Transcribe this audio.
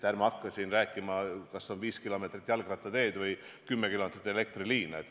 Ärme hakkame siin rääkima, kas on 5 kilomeetrit jalgrattateed või 10 kilomeetrit elektriliine.